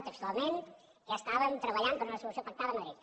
textualment que estàvem treballant per una solució pactada amb madrid